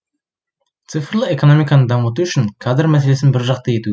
цифрлы экономиканы дамыту үшін кадр мәселесін бір жақты ету